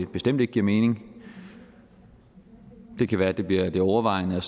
bestemt ikke giver mening det kan være det bliver det overvejende